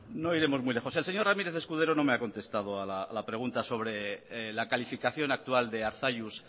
no iremos muy lejos el señor ramírez escudero no me ha contestado a la pregunta sobre la calificación actual de arzalluz